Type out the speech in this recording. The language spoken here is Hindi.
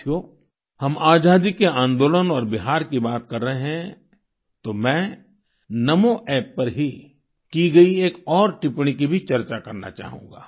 साथियो हम आजादी के आंदोलन और बिहार की बात कर रहें हैं तो मैं नामो App पर ही की गई एक और टिपण्णी की भी चर्चा करना चाहूँगा